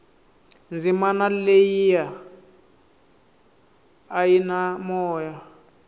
dzimana leyia a yi na moya